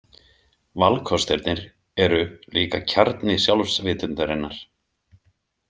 Valkostirnir eru líka kjarni sjálfsvitundarinnar.